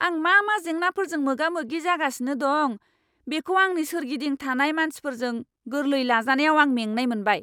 आं मा मा जेंनाफोरजों मोगा मोगि जागासिनो दं, बेखौ आंनि सोरगिदिं थानाय मानसिफोरजों गोरलै लाजानायाव आं मेंनाय मोनबाय!